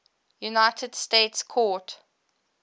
united states court